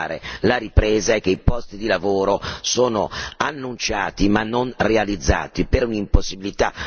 annunciati, ma non realizzati per un'impossibilità oggettiva, mancando una concorrenza leale.